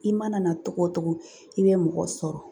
I mana na cogo o cogo i bɛ mɔgɔ sɔrɔ